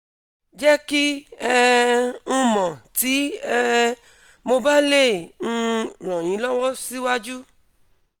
jẹ ki um n mọ ti um mo ba le um ran yin lọwọ siwaju